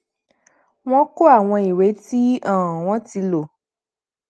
wọn kó àwọn ìwé tí um wọn ti lò